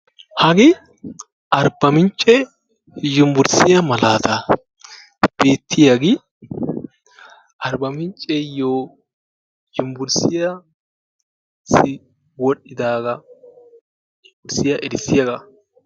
hagee arba mince yunburssiya malaata, ha beetiyage arba mince yunburssiyassi wodhidaaaga erisiyaaga.